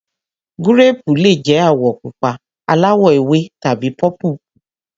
Gúréèpù le jẹ́ àwọ̀ pupa, aláwọ̀-ewé tàbí pọ́púùpù.